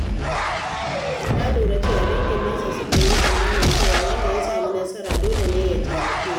Na lura cewa dangin nesa sukan yi tsammanin cewa wanda ya samu nasara dole ne ya taimake su.